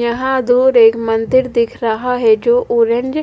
यहा दो रेग मंदिर दिख रहा है जो ऑरेंज